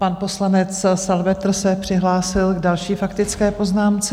Pan poslanec Salvetr se přihlásil k další faktické poznámce.